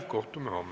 Kohtume homme.